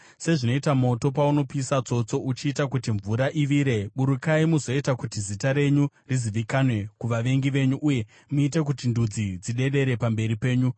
Sezvinoita moto paunopisa tsotso uchiita kuti mvura ivire, burukai muzoita kuti zita renyu rizivikanwe kuvavengi venyu, uye muite kuti ndudzi dzidedere pamberi penyu!